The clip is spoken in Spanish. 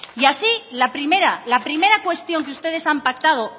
y así la primera la primera cuestión que ustedes han pactado